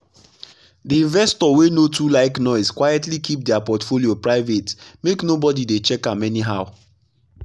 the investor wey no too like noise quietly keep their portfolio private make nobody dey check am anyhow.